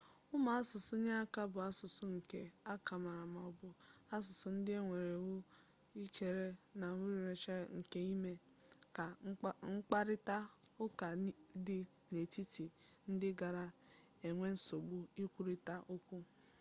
ụmụ asụsụ inyeaka bụ asụsụ nke akamere ma ọ bụ asụsụ ndị ewuru ewu e kere n'ebumnuche nke ime ka mkparịta ụka dị n'etiti ndị gara-enwe nsogbu ikwurita okwu